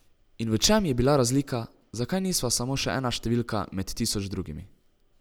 In v čem je bila razlika, zakaj nisva samo še ena številka med tisoč drugimi?